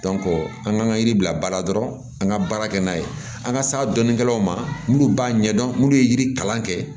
an k'an ka yiri bila baara dɔrɔn an ka baara kɛ n'a ye an ka sa donkɛlaw ma minnu b'a ɲɛdɔn n'u ye yiri kalan kɛ